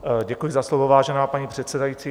Děkuji za slovo, vážená paní předsedající.